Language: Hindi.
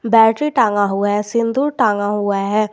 बैटरी टांगा हुआ है सिंदूर टांगा हुआ है।